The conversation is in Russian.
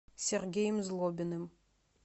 сергеем злобиным